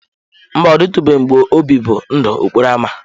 Mba, ọ dịtụbeghị mgbe m bibu ndụ okporo ámá.